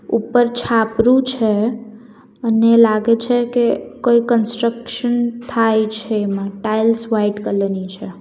ઉપર છાપરું છે અને લાગે છે કે કોઈ કન્સ્ટ્રક્શન થાય છે એમાં ટાઇલ્સ વાઈટ કલર ની છે.